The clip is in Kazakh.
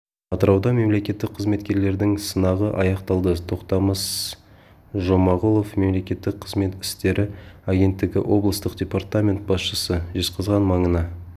атырауда мемлекеттік қызметкерлердің сынағы аяқталды тоқтамыс жұмағұлов мемлекеттік қызмет істері агенттігі облыстық департамент басшысы жезқазған маңына